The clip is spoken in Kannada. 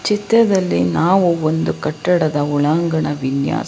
ಚಿತ್ರದಲ್ಲಿ ನಾವು ಒಂದು ಕಟ್ಟಡದ ಒಳಾಂಗಣ ವಿನ್ಯಾಸ.